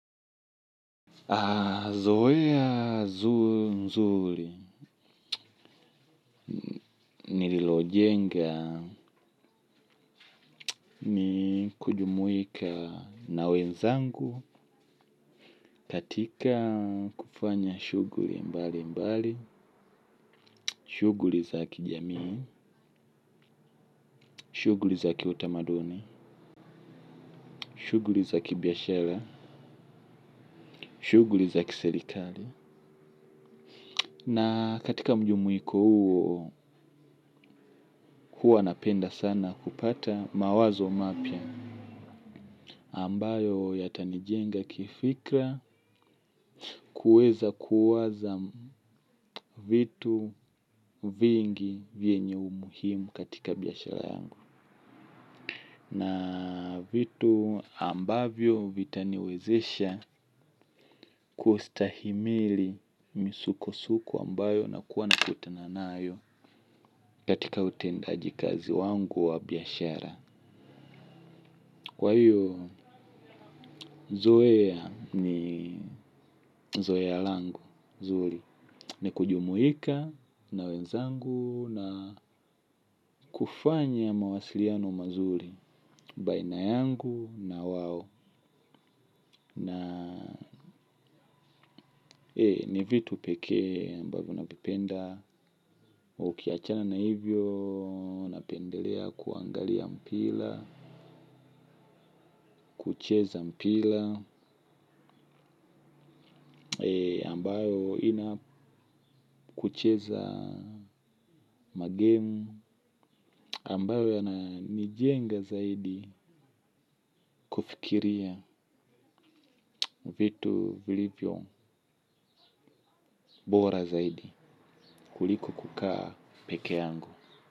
Mazoea nzuri nililojenga ni kujumuika na wenzangu katika kufanya shughuli mbali mbali, shughuli za kijamii, shughuli za kiutamaduni, shughuli za kibiashara, shughuli za kiserikali. Na katika mjumuiko huo, huwa napenda sana kupata mawazo mapya ambayo yatanijenga kifikra kueza kuwaza vitu vingi vyenye umuhimu katika biashara yangu. Na vitu ambavyo vitaniwezesha kustahimili misuko-suko ambayo nakuwa nakutana nayo katika utendajikazi wangu wa biashara. Kwa hiyo zoea ni zoea langu zuri. Ni kujumuika na wenzangu na kufanya mawasiliano mazuri baina yangu na wao. Na ni vitu pekee ambavyo navipenda. Ukiachana na hivyo napendelea kuangalia mpira. Kucheza mpira ambayo ina kucheza magemu ambayo yananijenga zaidi kufikiria vitu vilivyo bora zaidi kuliko kukaa peke yangu.